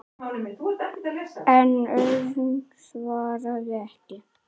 En Örn svaraði ekki.